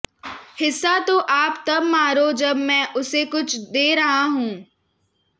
हिस्सा तो आप तब मारो जब मैं उसे कुछ दे रहा होऊं